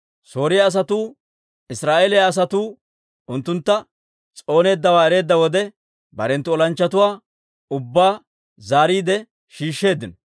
Sooriyaa asatuu Israa'eeliyaa asatuu unttuntta s'ooneeddawaa ereedda wode, barenttu olanchchatuwaa ubbaa zaariide shiishsheeddino.